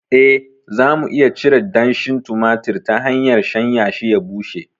Eh, za mu iya cire danshin tumatir ta hanyar shanyashi ya bushe.